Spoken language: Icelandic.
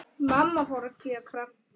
Mamma fór að kjökra.